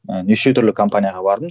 ііі неше түрлі компанияға бардым